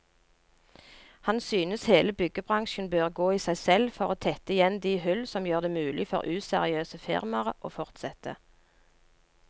Han synes hele byggebransjen bør gå i seg selv for å tette igjen de hull som gjør det mulig for useriøse firmaer å fortsette.